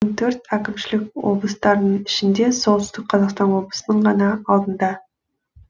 он төрт әкімшілік облыстарының ішінде солтүстік қазақстан облысының ғана алдында